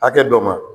Hakɛ dɔ ma